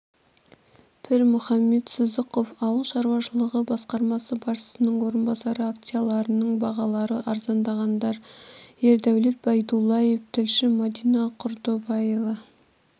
пірмұхаммед сыздықов ауыл шаруашылығы басқармасы басшысының орынбасары акцияларының бағалары арзандағандар ердәулет байдуллаев тілші мадина курдобаева